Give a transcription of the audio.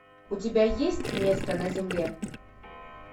у тебя есть место на земле